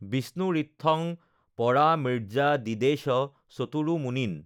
বিষ্ণুৰিত্থং পৰামৃৰ্য্যাদিদেশ চতুৰো মুনীন